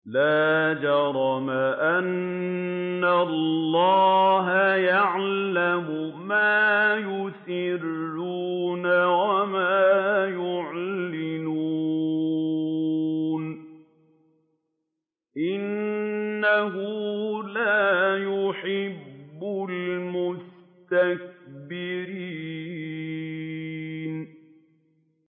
لَا جَرَمَ أَنَّ اللَّهَ يَعْلَمُ مَا يُسِرُّونَ وَمَا يُعْلِنُونَ ۚ إِنَّهُ لَا يُحِبُّ الْمُسْتَكْبِرِينَ